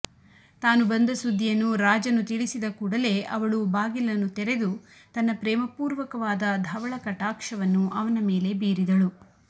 ತಾನು ಬಂದ ಸುದ್ದಿಯನ್ನು ರಾಜನು ತಿಳಿಸಿದ ಕೂಡಲೇ ಅವಳು ಬಾಗಿಲನ್ನು ತೆರೆದು ತನ್ನ ಪ್ರೇಮಪೂರ್ವಕವಾದ ಧವಳಕಟಾಕ್ಷವನ್ನು ಅವನ ಮೇಲೆ ಬೀರಿದಳು